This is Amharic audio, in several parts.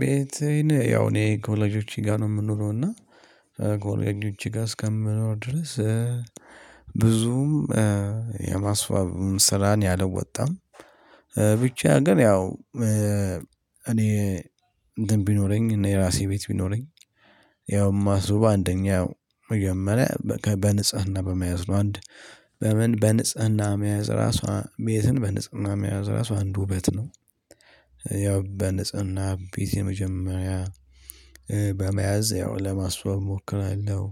ቤቴን ያው እኔ ከወላጆቼ ጋር ነው የምኖረው እና ከወላጆቼ ጋር እስከምኖር ድረስ። ብዙም የማስዋብ ስራ እኔ አልወጣም። ብቻ ግን ያው እኔ እንትን ቢኖረኝ እኔ የራሴ ቤት ቢኖረኝ። ያው እማስበው አንደኛ ያው መጀመሪያ በንጽህና በመያዝ ነው አንድ በምን በንጽህና መያዝ ራሱ ቤትን በንጽህና መያዝ ራሱ አንድ ውበት ነው። ያው በንጽህና ቤት የመጀመሪያ በመያዝ ያው ለማስዋብ እሞክራለሁ።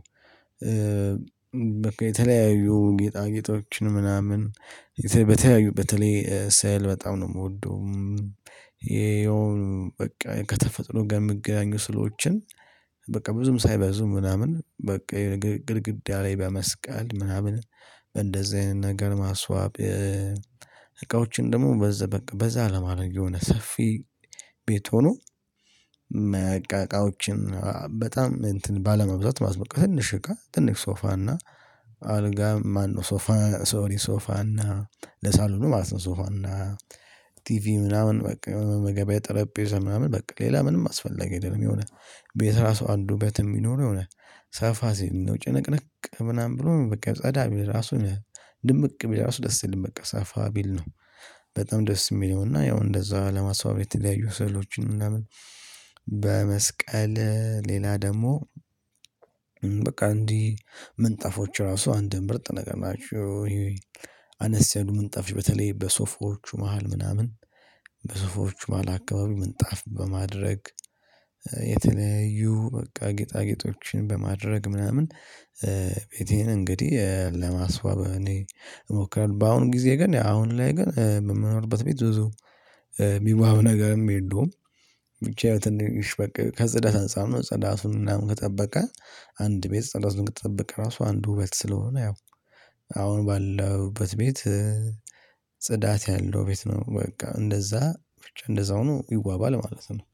በቃ የተለያዩ ጌጣጌጦችን ምናምን በተለይ በተለይ ስዕል በጣም ነው የምወደው። ይሄው በቃ ከተፈጥሮ ጋር የሚገናኙ ስዕሎችን። በቃ ብዙም ሳይበዙ ምናምን በቃ ግድግዳ ላይ በመስቀል ምናምን። በእንደዚህ አይነት ነገር ማስዋብ እቃዎችን ደግሞ በዛ በቃ በዛ ለማድረግ የሆነ ሰፊ ቤት ሆኖ መ እቃቃዎችን በጣም እንትን ባለማብዛት ማለት ነው። ከትንሽ እቃ ትንሽ ሶፋና አልጋ ማነው ሶፋ ሶሪ ሶፋና ለሳሎኑ ማለት ነው ሶፋና ቲቪ ምናምን በቃ መመገበያ ጠረጴዛ ምናምን በቃ ሌላ ምንም አስፈላጊ አይደለም። የሆነ ቤት ራሱ አንድ ውበት የሚኖረው የሆነ ሰፋ ሲል ነው ጭንቅንቅ ምናምን ብሎ ነው በቃ ጸዳ ቤት ራሱ የሆነ ድምቅ ቢል እራሱ ደስ አይልም በቃ ሰፋ ቢል ነው። በጣም ደስ የሚለውና ያው እንደዛ ለማስዋብ የተለያዩ ስዕሎችን ለምን በመስቀል ሌላ ደግሞ በቃ እንዲህ ምንጣፎች ራሱ አንድን ምርጥ ነገር ናቸው። አነስ ያሉ ምንጣፎች በተለይ በሶፋዎቹ መሃል ምናምን በሶፋዎቹ መሃል አካባቢ ምንጣፍ በማድረግ የተለያዩ በቃ ጌጣጌጦችን በማድረግ ምናምን። ቤቴን እንግዲህ ለማስዋብ እኔ እሞክራለሁ። በአሁን ጊዜ ግን አሁን ላይ ግን በምንኖርበት ቤት ብዙ የሚዋብ ነገርም የለውም። ብቻ የት እንደሚሽ በቃ ከጽዳት አንፃር ነው ጽዳቱን ምናምን ከጠበቀ። አንድ ቤት ጽዳቱን ከጠበቀ ራሱ አንድ ውበት ስለሆነ ያው አሁን ባለሁበት ቤት። ጽዳት ያለው ቤት ነው በቃ እንደዛ ብቻ እንደዛው ነው ይዋባል ማለት ነው